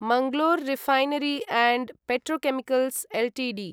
Mangalore refinery and petrochemicals Ltd